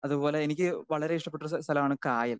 Speaker 2 അതുപോലെ എനിക്ക് വളരെ ഇഷ്ടപ്പെട്ട ഒരു സ്ഥലമാണ് കായൽ.